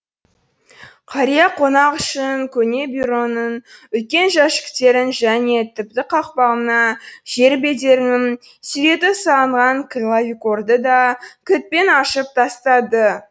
қария қонақ үшін көне бюроның үлкен жәшіктерін және тіпті қақпағына жер бедерінің суреті салынған клавикорды да кілтпен ашып тастады